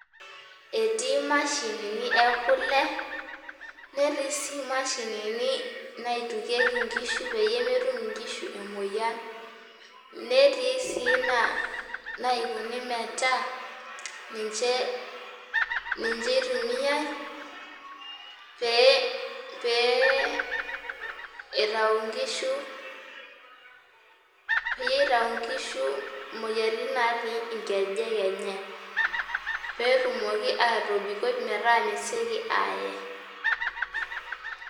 Etii mashinini ekule netii sii mashininibnaitukieki nkishu peyie metum nkishu emoyian netii si na naikuni metaa ninche itumiai pepe eitau nkishu peyie itau nkishu nkejek enye petumoki atobikoi metaa sieki aye.